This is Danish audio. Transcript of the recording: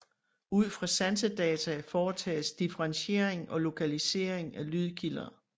Ud fra sansesdata foretages differentiering og lokalisering af lydkilder